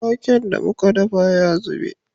Waken da muka dafa ya zube